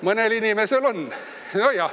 Mõnel inimesel on.